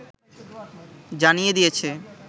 জানিয়ে দিয়েছে